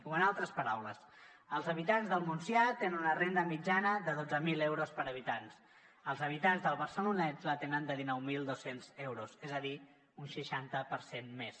o en altres paraules els habitants del montsià tenen una renda mitjana de dotze mil euros per habitant els habitants del barcelonès la tenen de dinou mil dos cents euros és a dir un seixanta per cent més